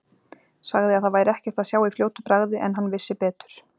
Sagði að það væri ekkert að sjá í fljótu bragði en hann vissi betur.